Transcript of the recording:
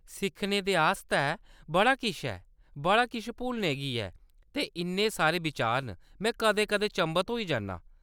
सिक्खने दे आस्तै बड़ा किश ऐ, बड़ा किश भुलने गी ऐ, ते इन्ने सारे बिचार न, मैं कदें-कदें चंभत होई जन्नां।